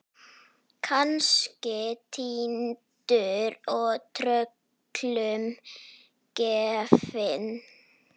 Kannski týndur og tröllum gefinn.